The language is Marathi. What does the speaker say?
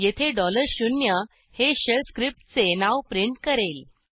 येथे 0 डॉलर शून्य हे शेल स्क्रिप्टचे नाव प्रिंट करेल